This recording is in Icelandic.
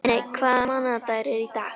Líneik, hvaða mánaðardagur er í dag?